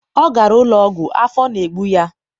ọ gara ụlọ ọgwụ, afọ na-egbu ya.